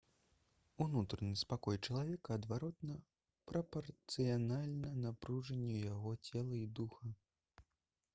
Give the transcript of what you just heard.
унутраны спакой чалавека адваротна прапарцыянальны напружанню яго цела і духа